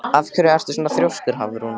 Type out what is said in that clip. Af hverju ertu svona þrjóskur, Hafrún?